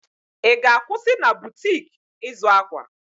I ga-akwụsị na butik ịzụ akwa?